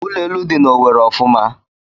Ụlọ elu dị na Owerri ofuma.